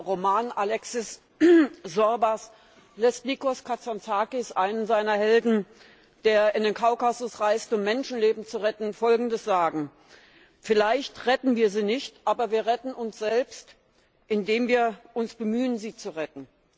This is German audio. In seinem Roman Alexis Sorbas lässt Nikos Kazantzakis einen seiner Helden, der in den Kaukasus reist, um Menschenleben zu retten, Folgendes sagen Vielleicht retten wir sie nicht, aber wir retten uns selbst, indem wir uns bemühen, sie zu retten.